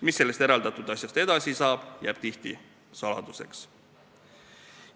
Mis sellest eraldatud asjast edasi saab, jääb tihti saladuseks.